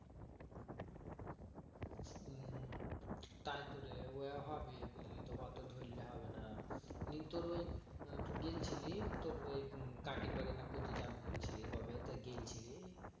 তাই তো রে ওই হবে বুঝলি তো অটো ধরলে হবেনা তোর ওই কাকীর বাড়ি না কটি জাবি বলছিলি কবে গেলছিলি